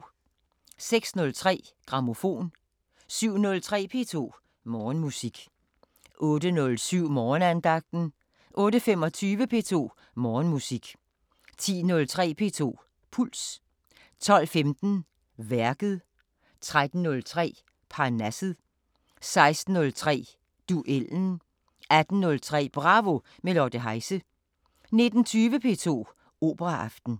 06:03: Grammofon 07:03: P2 Morgenmusik 08:07: Morgenandagten 08:25: P2 Morgenmusik 10:03: P2 Puls 12:15: Værket 13:03: Parnasset 16:03: Duellen 18:03: Bravo – med Lotte Heise 19:20: P2 Operaaften